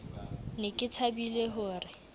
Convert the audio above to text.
ne ke thabile ho re